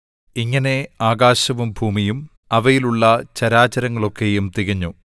ഇങ്ങനെ ആകാശവും ഭൂമിയും അവയിലുള്ള ചരാചരങ്ങളൊക്കെയും തികഞ്ഞു